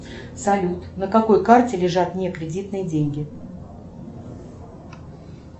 салют на какой карте лежат не кредитные деньги